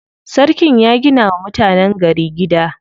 Sarkin ya gina wa mutanen gari gida.